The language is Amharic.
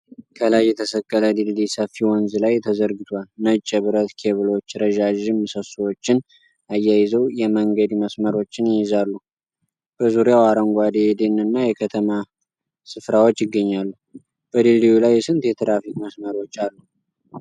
ከላይ የተሰቀለ ድልድይ ሰፊ ወንዝ ላይ ተዘርግቷል። ነጭ የብረት ኬብሎች ረዣዥም ምሰሶዎችን አያይዘው የመንገድ መስመሮችን ይይዛሉ። በዙሪያው አረንጓዴ የደን እና የከተማ ስፍራዎች ይገኛሉ። በድልድዩ ላይ ስንት የትራፊክ መስመሮች አሉ?